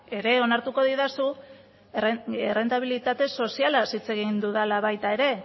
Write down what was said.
ere onartuko didazu errentabilitate sozialaz hitz egin dudala baita ere